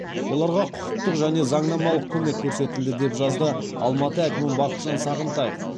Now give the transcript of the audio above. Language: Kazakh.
оларға құқықтық және заңнамалық көмек көрсетілді деп жазды алматы әкімі бақытжан сағынтаев